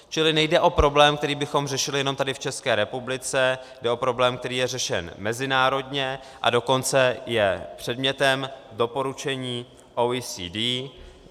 Čili nejde o problém, který bychom řešili jenom tady v České republice, jde o problém, který je řešen mezinárodně, a dokonce je předmětem doporučení OECD.